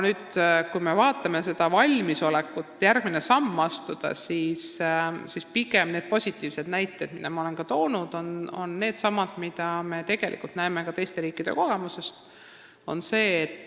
Kui me vaatame valmisolekut astuda järgmine samm, siis pigem on positiivsed näited, mida olen toonud, needsamad, mida näeme ka teiste riikide kogemusest.